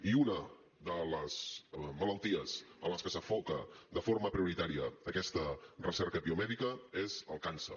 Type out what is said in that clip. i una de les malalties en les que s’enfoca de forma prioritària aquesta recerca biomèdica és el càncer